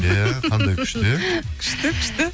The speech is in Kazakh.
иә қандай күшті иә күшті күшті